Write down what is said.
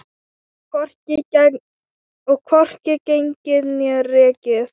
Og hvorki gengið né rekið.